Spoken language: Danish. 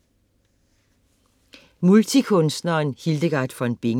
Multikunstneren Hildegard von Bingen